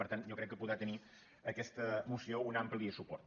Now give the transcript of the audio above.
per tant jo crec que po·drà tenir aquesta moció un ampli suport